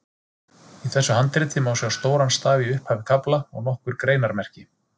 Í þessu handriti má sjá stóran staf í upphaf kafla og nokkur greinarmerki.